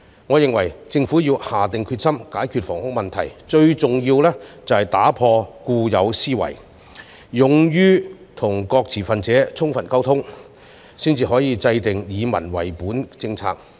我認為，政府必須下定決心解決本地住屋問題，當中最重要的，是打破固有思維，勇於跟各持份者充分溝通，這樣才可以制訂以民為本的政策。